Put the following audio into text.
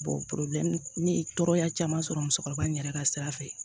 ne ye tɔɔrɔya caman sɔrɔ musokɔrɔba in yɛrɛ ka sira fɛ